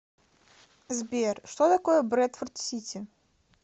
сбер что такое брэдфорд сити